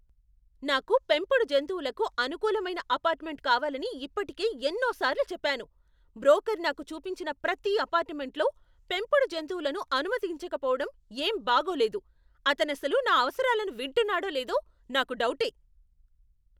నాకు పెంపుడు జంతువులకు అనుకూలమైన అపార్ట్మెంట్ కావాలని ఇప్పటికే ఎన్నోసార్లు చెప్పాను. బ్రోకర్ నాకు చూపించిన ప్రతీ అపార్ట్మెంట్లో పెంపుడు జంతువులను అనుమతించకపోవడం ఏం బాగోలేదు. అతనసలు నా అవసరాలను వింటున్నాడో లేదో నాకు డౌటే.